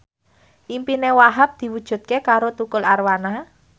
impine Wahhab diwujudke karo Tukul Arwana